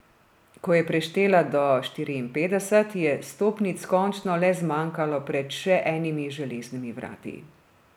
Ko je preštela do štiriinpetdeset, je stopnic končno le zmanjkalo pred še enimi železnimi vrati.